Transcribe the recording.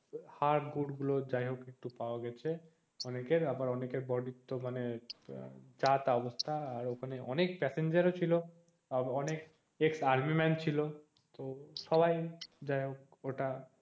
হার গুড় গুলো যাইহোক একটু পাওয়া গেছে অনেকের আবার অনেকের body তো মানে যা তা অবস্থা আর ওখানে অনেক passenger ও ছিল অনেক ex army man ও ছিল তো সবাই যাইহোক ওটা